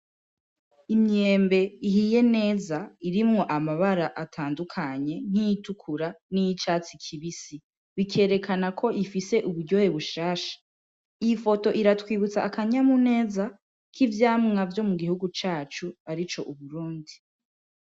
Imyembe ihiye neza irimwo amabara atandukanye: nk'iyitukura, n'iyicatsi kibisi. Bikerekana ko ifise uburyohe bushasha. Iyi foto iratwibutsa akanyamuneza k'ivyamwa vyo mu gihugu cacu arico Uburundi.